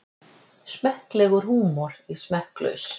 Smekklegur húmor í smekklaus